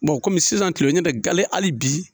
sisan kilew ɲɔtɛ gale hali bi